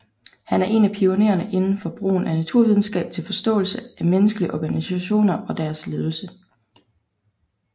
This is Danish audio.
Han er en af pionererne inden for brugen af naturvidenskab til forståelse af menneskelige organisationer og deres ledelse